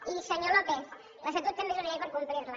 i senyor lópez l’estatut també és una llei per complir la